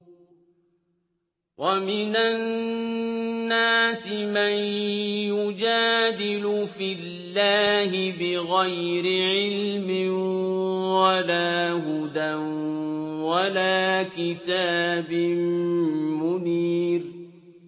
وَمِنَ النَّاسِ مَن يُجَادِلُ فِي اللَّهِ بِغَيْرِ عِلْمٍ وَلَا هُدًى وَلَا كِتَابٍ مُّنِيرٍ